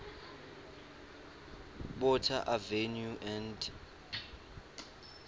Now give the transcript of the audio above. botha avenue and